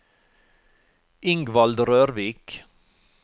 Ingvald Rørvik